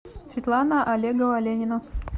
светлана олегова ленина